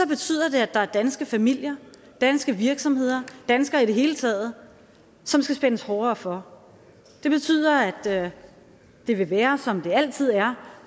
betyder det at der er danske familier danske virksomheder danskere i det hele taget som skal spændes hårdere for det betyder at det vil være som det altid er